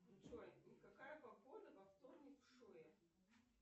джой какая погода во вторник в шуе